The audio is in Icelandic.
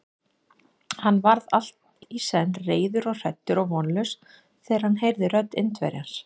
Hann varð allt í senn reiður og hræddur og vonlaus, þegar hann heyrði rödd Indverjans.